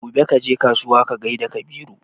gobe kaje kasuwa ka gaida Kabiru